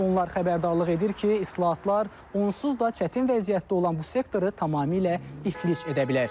Onlar xəbərdarlıq edir ki, islahatlar onsuz da çətin vəziyyətdə olan bu sektoru tamamilə iflic edə bilər.